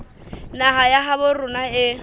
naha ya habo rona e